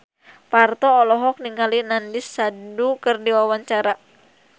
Parto olohok ningali Nandish Sandhu keur diwawancara